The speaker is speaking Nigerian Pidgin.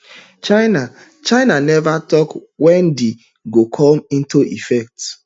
china china neva tok wen di go come into effect